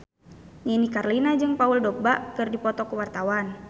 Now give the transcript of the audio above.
Nini Carlina jeung Paul Dogba keur dipoto ku wartawan